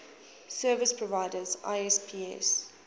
service providers isps